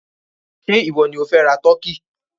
Ṣé ìwọ ni ó fẹ́ ra tọ́kì?